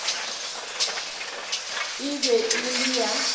e be e le ya